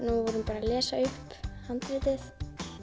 og voru bara að lesa upp handritið